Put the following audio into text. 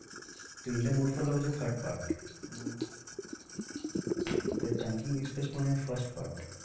তো in the mood for love হচ্ছে third part ah তাই chungking express মানে first part